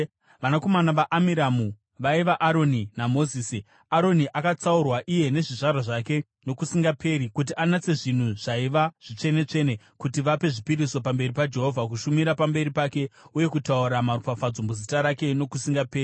Vanakomana vaAmiramu vaiva: Aroni naMozisi. Aroni akatsaurwa iye nezvizvarwa zvake nokusingaperi, kuti anatse zvinhu zvaiva zvitsvene-tsvene, kuti vape zvipiriso pamberi paJehovha, kushumira pamberi pake uye kutaura maropafadzo muzita rake nokusingaperi.